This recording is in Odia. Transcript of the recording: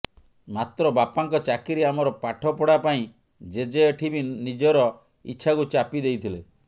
ମାତ୍ର ବାପାଙ୍କ ଚାକିରୀ ଆମର ପାଠପଢ଼ା ପାଇଁ ଜେଜେ ଏଠି ବି ନିଜର ଇଚ୍ଛାକୁ ଚାପି ଦେଇଥିଲେ